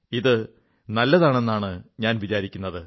ഇത് നല്ലതാണെന്നാണ് ഞാൻ വിചാരിക്കുന്നത്